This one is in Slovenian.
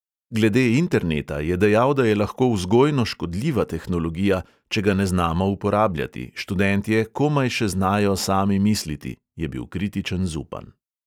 Glede interneta je dejal, da je lahko vzgojno škodljiva tehnologija, če ga ne znamo uporabljati: študentje komaj še znajo sami misliti, je bil kritičen zupan.